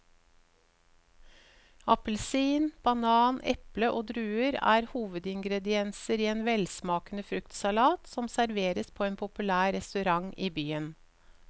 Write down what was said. Appelsin, banan, eple og druer er hovedingredienser i en velsmakende fruktsalat som serveres på en populær restaurant i byen.